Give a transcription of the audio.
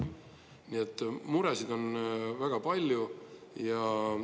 Nii et muresid on väga palju.